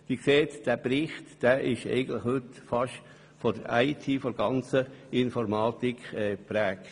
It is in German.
Sie sehen, der heute vorliegende Bericht ist eigentlich fast gänzlich von der Informatik geprägt.